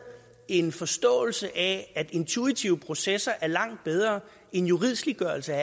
en forståelse af at intuitive processer er langt bedre end juridsliggørelse